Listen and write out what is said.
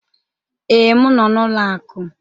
Ee, m nọ n'ụlọ akụ.